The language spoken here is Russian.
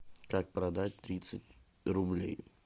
как продать тридцать рублей